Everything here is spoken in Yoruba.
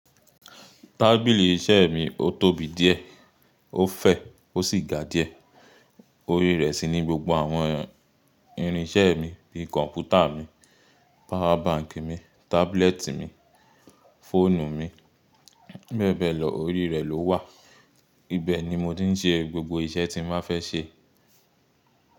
Tábìlì iṣẹ́ mi, ó tóbi díẹ̀, ó fẹ̀, ó sì ga díẹ̀. Orí rẹ̀ sì ní gbogbo àwọn irinṣẹ́ mi, bíi kọ̀ǹpútà mi, power bank mi, tábúlẹ̀tì mi, fóònù mi, bẹ́ẹ̀ bẹ́ẹ̀ lọ, orí rẹ̀ ló wà. Ibe ni mo ti ń ṣe gbogbo iṣẹ́ tí n bá fẹ́ ṣe.